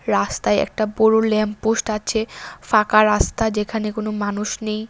রাস্তায় একটা বড় ল্যাম্প পোস্ট আছে ফাঁকা রাস্তা যেখানে কোন মানুষ নেই।